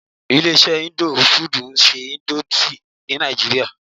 Ilé iṣé indo fudù ń ṣe nódúsì ní nàìjíría.